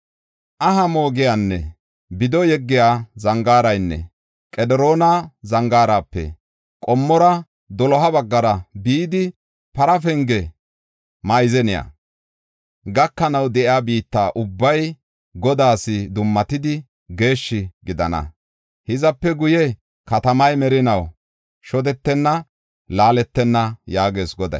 Aha moogiyanne bido yeggiya zangaaraynne Qediroona Zangaarape qommora doloha baggara bidi, Para Penge maazaniya gakanaw de7iya biitta ubbay Godaas dummatidi, geeshshi gidana. Hizape guye, katamay merinaw shodetenna; laaletenna” yaagees Goday.